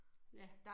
Ja